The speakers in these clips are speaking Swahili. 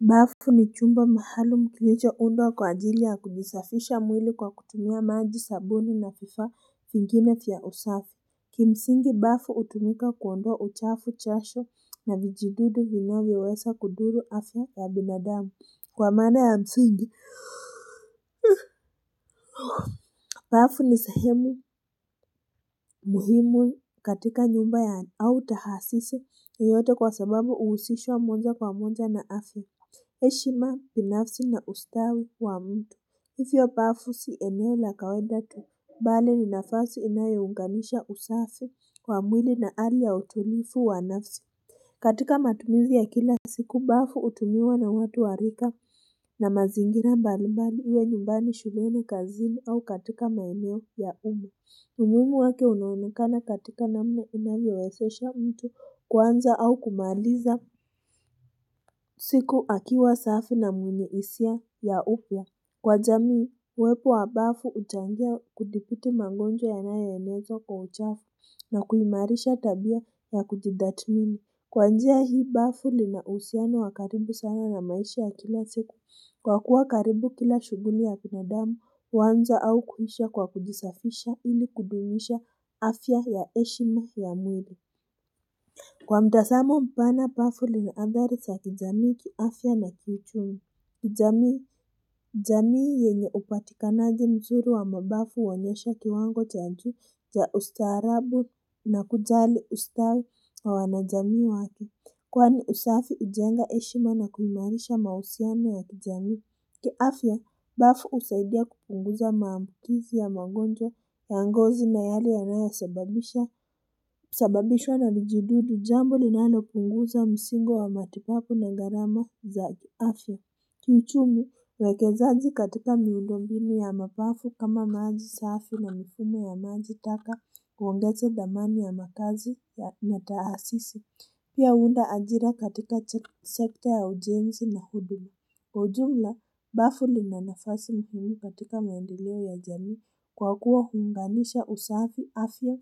Bafu ni chumba mahalo kilichoundwa kwa ajili ya kujisafisha mwili kwa kutumia maji sabuni na vifaa vingine vya usafi Kimsingi bafu hutumika kuondoa uchafu jasho na vijidudu vinavyoweza kudhuru afya ya binadamu kwa maana ya msingi Bafu ni sehemu muhimu katika nyumba ya au taasisi yoyote kwa sababu uhusishwa moja kwa moja na afya heshima binafsi na ustawi wa mtu Hivyo bafu si eneo la kawaida tu bali ni nafasi inayounganisha usafuli wa mwili na hali ya utulivu wa nafsi katika matumizi ya kila siku bafu hutumiwa na watu wa rika na mazingira mbalimbali iwe nyumbani shuleni kazini au katika maeneo ya umme umuhimu wake unaonekana katika namna unavyowezesha mtu kuanza au kumaliza siku akiwa safi na mwenye hisia ya upya. Kwa jamii, uwepo wa bafu huchangia kudhibiti mangonjwa yanayoenezwa kwa uchafu na kuimarisha tabia ya kujitathmini. Kwa njia hii bafu lina uhusiano wa karibu sana na maisha ya kila siku. Kwa kuwa karibu kila shughuli ya binadamu, huanza au kuisha kwa kujisafisha ili kudumisha afya ya heshimu ya mwili. Kwa mtazamo mpana Bafu lina athari za kijamii kiafya na kiuchumi. Jamii yenye hupatikanaji mzuri wa mabafu huonyesha kiwango cha juu ya ustaarabu na kujali ustawi wa wanajamii wake. Kwani usafi hujenga heshima na kuimarisha mahusiano ya kijamii. Kiafya, bafu husaidia kupunguza maambukizi ya mangonjwa ya ngozi na yale yanayosababisha. Sababishwa na vijidudu jambo ninalopunguza msingo wa matibabu na gharama za kiafya. Kiuchumu, uwekezaji katika miundo mbinu ya mapafu kama maji safi na mifumo ya maji taka kuongeza dhamani ya makazi na taasisi. Pia huunda ajira katika sekta ya ujenzi na huduma. Kwa ujumla, bafu lina nafasi muhimu katika maendeleo ya jamii kwa kuwa huunganisha usafi afya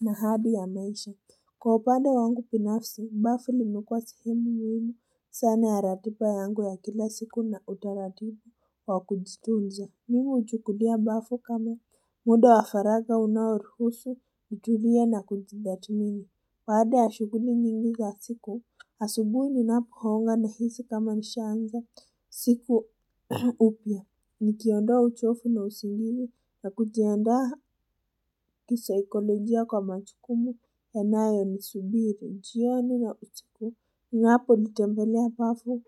na hadhi ya maisha. Kwa upande wangu binafsi, bafu limekuwa sehemu muhimu sana ya ratiba yangu ya kila siku na utaratibu wa kujitunza. Mimi huchukulia bafu kama. Muundo wa faraga unaoruhusu, kutulia na kujitathmini. Baada ya shughuli nyingi ya siku, asubuhi ninapoonga nahisi kama nishaanza siku upya. Nikiondoa uchovu na usingizi na kujianda kisaikolojia kwa majukumu yanayonisubiri. Jioni na usiku, ninapolitembelea bafu.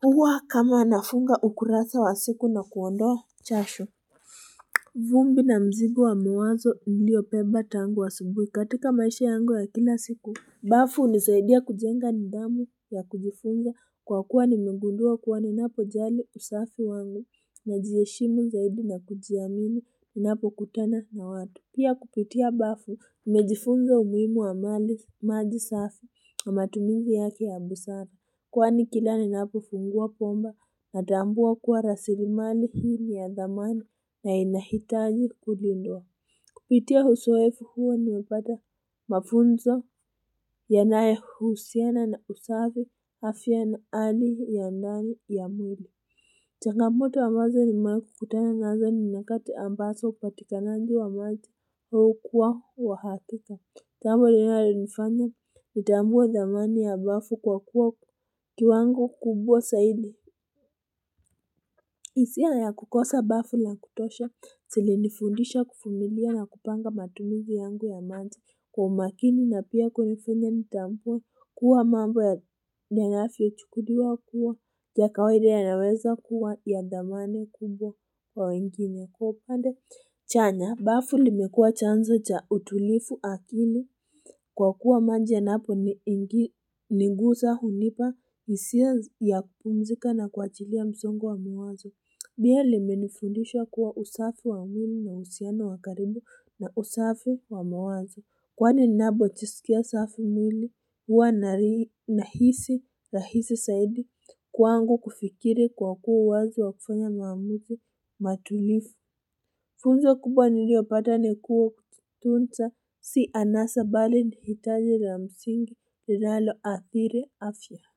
Huwa kama nafunga ukurasa wa siku na kuondoa jasho. Vumbi na mzigo wa mawazo niliyobeba tangu asubuhi katika maisha yangu ya kila siku. Bafu hunisaidia kujenga nidhamu ya kujifunza kwa kuwa nimegundua kuwa ninapo jali usafi wangu najiheshimu zaidi na kujiamini ninapokutana na watu. Pia kupitia Bafu nimejifunza umuhimu wa mali maji safi matumizi yake ya busara. Kwani kila ninapofungua bomba natambua kuwa rasilimali hili ya dhamani na inahitaji kulindwa. Kupitia uzoefu huwa nimepata mafunzo yanayohusiana na usafi afya na hali ya ndani ya mwili. Changamoto wa mawazo nimewahi kukutana nazo ni nyakati ambazo upatikanaji wa maji hukuwa wa hakika. Jambo linalonifanya nitambue dhamani ya bafu kwa kuwa kiwango kubwa zaidi. Hisia ya kukosa bafu la kutosha zilinifundisha kuvumilia na kupanga matumizi yangu ya maji kwa umakini na pia kunifanya nitambue kuwa mambo yanavyochukuliwa kuwa ya kawaida yanaweza kuwa ya dhamani kubwa kwa wengine. Kwa upande chanya, bafu limekua chanzo cha utulivu akili kwa kuwa maji yanaponiguza hunipa hisia ya kupumzika na kuachilia msongo wa mawazo. Pia limenifundisha kuwa usafi wa mwili lina uhusiano wa karibu na usafi wa mawazo. Kwani ninapojisikia safi mwili huwa nahisi rahisi zaidi kwangu kufikiri kwa kuwa wazo wa kufanya mawazo matulivu. Funzo kubwa niliopata ni kuwa tunza si anasa bali ni hitaji la msingi linaloathiri afya.